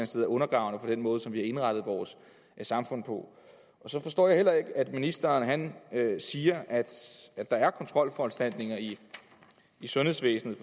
sted er undergravende for den måde som vi har indrettet vores samfund på jeg forstår heller ikke at ministeren siger at der er kontrolforanstaltninger i sundhedsvæsenet